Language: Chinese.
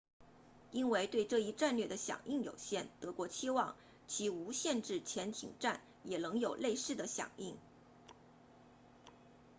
因为对这一战略的响应有限德国期望其无限制潜艇战也能有类似的响应